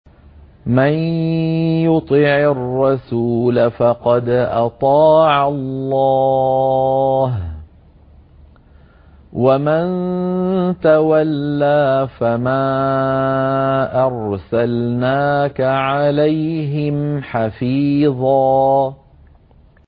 مَّن يُطِعِ الرَّسُولَ فَقَدْ أَطَاعَ اللَّهَ ۖ وَمَن تَوَلَّىٰ فَمَا أَرْسَلْنَاكَ عَلَيْهِمْ حَفِيظًا